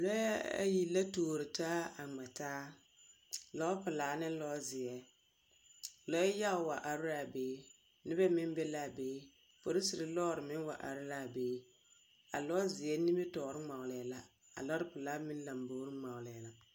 Lͻԑ a yi la tuori taa a ŋmԑ taa. lͻͻpelaa ne lͻzeԑ. Lͻͻ yage wa are la a be. Nobԑ meŋ be la a be. Polisiri lͻͻre meŋ wa are la a be. A lͻͻzeԑ nimitͻͻre ŋmͻgelԑԑ la. A lͻͻpelaa meŋ lambori ŋmͻgelԑԑ la.